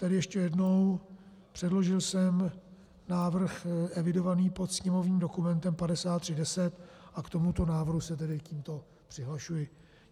Tedy ještě jednou, předložil jsem návrh evidovaný pod sněmovním dokumentem 5310 a k tomuto návrhu se tedy tímto přihlašuji.